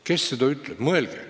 Kes seda ütleb?